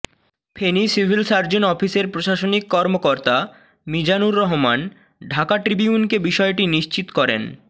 Feni civil surgeon অফিসের প্রশাসনিক কর্মকর্তা মিজানুর রহমান ঢাকা ট্রিবিউনকে বিষয়টি নিশ্চিত করেন